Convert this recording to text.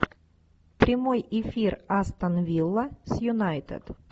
прямой эфир астон вилла с юнайтед